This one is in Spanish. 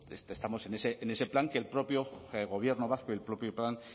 estamos en ese plan que el propio gobierno vasco y el propio plan